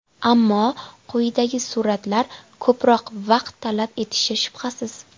Ammo quyidagi suratlar ko‘proq vaqt talab etishi shubhasiz.